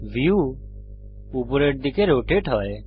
view উপরের দিকে rotate হয়